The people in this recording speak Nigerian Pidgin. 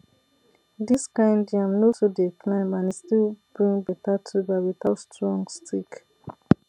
this kind yam no too dey climb and e still bring better tuber without strong stick